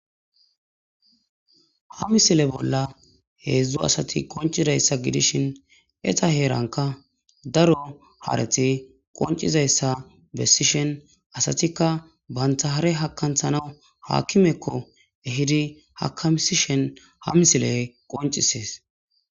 ha misile bolla heedzdzo asati qoncidayssa gidishin eta heeranka daro hareti qoncizayssa bessishen asatikka bantahare hakanthana haakimekko ehidi hakamsishen ha misiley qoncisees